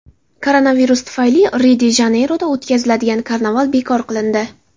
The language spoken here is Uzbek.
Koronavirus tufayli Rio-de-Janeyroda o‘tkaziladigan karnaval bekor qilindi.